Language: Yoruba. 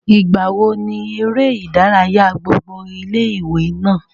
ìgbà wo ni eré ìdárayá gbogbo ilé ìwé náà?